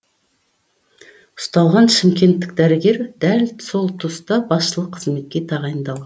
ұсталған шымкенттік дәрігер дәл сол тұста басшылық қызметке тағайындалған